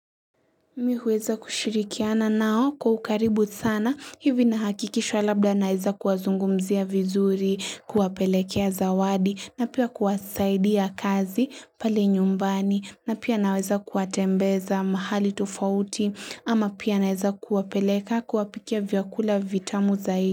Mi huweza kushirikiana nao kwa ukaribu sana hivi nahakikishwa labda naeza kuwazungumzia vizuri kuwapelekea zawadi na pia kuwasaidia kazi pale nyumbani na pia naweza kuwatembeza mahali tofauti ama pia naeza kuwapeleka kuwapikia vyakula vitamu zaidi.